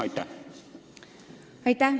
Aitäh!